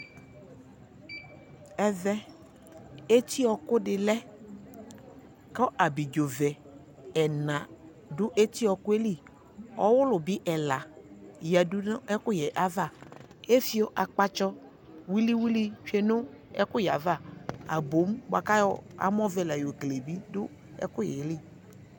Ɛvɛ eti ɔɔkʋ dι lɛ kʋ abidzovɛ ɛna dʋ eti ɔɔkʋ yɛ lιƆwulu bι ɛla yadʋ nʋ ɛkʋyɛ yɛ ava kʋ efio akpatsɔ wiliwili tsue nʋ ɛkʋyɛ yɛ ava Aboŋ bua kʋ ayɔ amɔ vɛ la yokele bι dʋ ɛkʋyɛ yɛ li